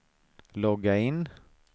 logga in